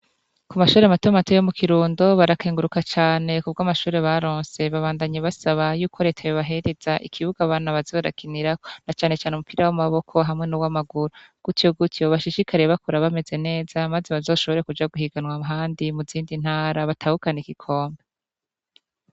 ku mashuri matomate yo mu kirundo barakenguruka cyane kubw' amashuri ba ronse babandanye basaba y'uko retabe bahereza ikibuga bantu bazorakinira na cyane cyane umupira w'amaboko hamwe n'uw'amaguru gutyo gutyo bashishikariye bakora bameze neza maze bazoshobore kuja guhiganwa handi mu zindi ntara batahukana igikombe